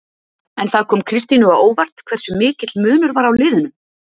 En kom það Kristínu á óvart hversu mikill munur var á liðunum?